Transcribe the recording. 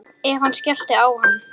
Ef hann skellti á hann.